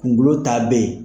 Kunkolo ta be yen .